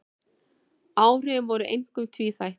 Áhrifin voru einkum tvíþætt